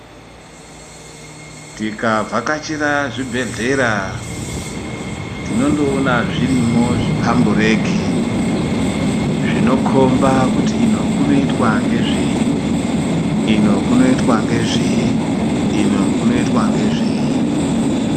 Tikavhakachira zvibhedhlera tinondoona zvirimwo zvipambureki zvinokomba kuti ino kunoitwa ngezvei , ino kunoitwa ngezvei ino kunoitwa ngezvei.